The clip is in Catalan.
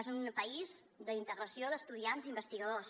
és un país d’integració d’estudiants i investigadors